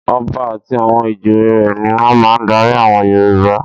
Ọba àti àwọn ìjòyè rẹ̀ ni wọ́n máa ń darí àwọn Yorùbá.